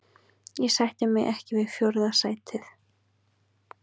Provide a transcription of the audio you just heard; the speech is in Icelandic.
Ég sætti mig ekki við fjórða sætið.